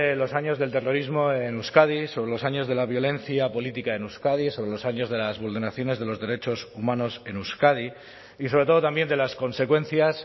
los años del terrorismo en euskadi sobre los años de la violencia política en euskadi sobre los años de las vulneraciones de los derechos humanos en euskadi y sobre todo también de las consecuencias